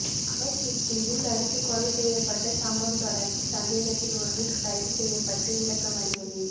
அல்லைப்பிட்டியில் அடித்துக் கொலை செய்யப்பட்ட சம்பவம் தொடர்பில் சந்தேகத்தில் ஒருவர் கைது செய்யப்பட்டு விளக்கமறியலில்